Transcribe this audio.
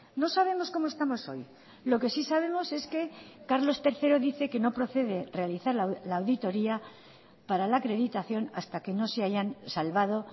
no sabemos cómo estamos hoy lo que sí sabemos es que carlos tercero dice que no procede realizar la auditoría para la acreditación hasta que no se hayan salvado